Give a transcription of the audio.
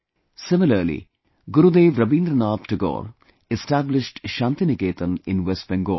Similarly, Gurudev Rabindranath Tagore established Shantiniketan in West Bengal